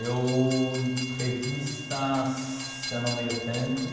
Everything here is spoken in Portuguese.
Eu, revistas, eu não leio tanto